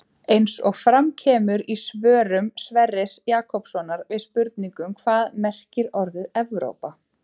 Eins og fram kemur í svörum Sverris Jakobssonar við spurningunum Hvað merkir orðið Evrópa?